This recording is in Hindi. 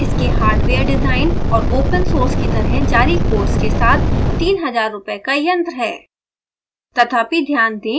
sbhs इसके हार्डवेयर डिज़ाइन और open source की तरह जारी कोड्स के साथ 3000 रूपए का यंत्र है